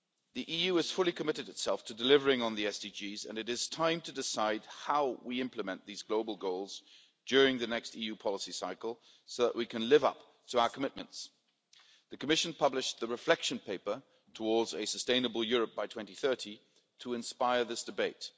The EU has fully committed itself to delivering on the SDGs and it is time to decide how we implement these global goals during the next EU policy cycle so that we can live up to our commitments. The Commission published the Reflection Paper Towards a Sustainable Europe by 2030 to inspire this debate.